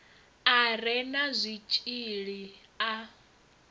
a re na zwitshili a